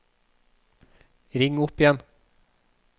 ring opp igjen